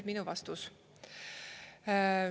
" Ja minu vastus.